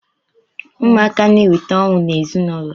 Ụmụaka na-eweta ọṅụ n'ezinụlọ